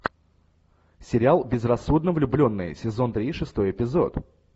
сериал безрассудно влюбленные сезон три шестой эпизод